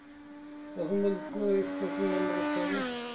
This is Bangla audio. এখন মানে আসলে smoking বন্ধ করতে হ।